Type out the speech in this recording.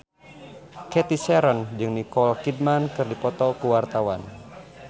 Cathy Sharon jeung Nicole Kidman keur dipoto ku wartawan